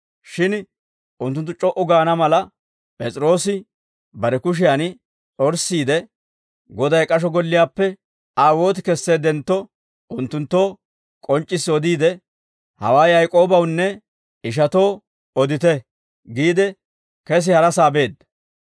Shin unttunttu c'o"u gaana mala, P'es'iroosi bare kushiyan s'orssiide, Goday k'asho golliyaappe Aa wooti kesseeddentto, unttunttoo k'onc'c'issi odiide, «Hawaa Yaak'oobawunne ishatoo odite» giide, kesi harasaa beedda.